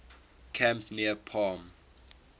camp near palm